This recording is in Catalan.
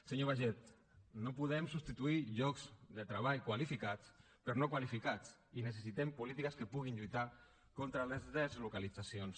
senyor baiget no podem substituir llocs de treball qualificats per no qualificats i necessitem polítiques que puguin lluitar contra les deslocalitzacions